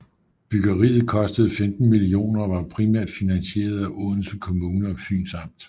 Byggeriet kostede 15 millioner og var primært finansieret af Odense Kommune og Fyns Amt